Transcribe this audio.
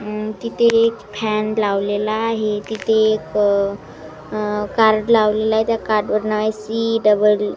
अ तिथे एक फॅन लावलेला आहे तिथे एक कार्ड लावलेला आहे त्या कार्ड वर नाव आहे सी डबल --